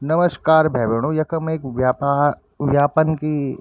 नमस्कार भाई भेनो यखम एक व्यापा व्यापन की ।